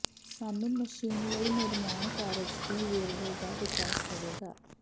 ਸਾਨੂੰ ਮਸ਼ੀਨ ਲਈ ਨਿਰਮਾਣ ਕਾਰਜ ਦੀ ਵੇਰਵੇ ਦਾ ਵਿਕਾਸ ਹੋਵੇਗਾ